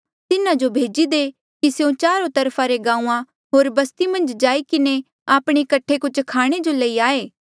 तिन्हा जो भेजी दे कि स्यों चारो तरफा रे गांऊँआं होर बस्ती मन्झ जाई किन्हें आपणे कठे कुछ खाणे जो लई आये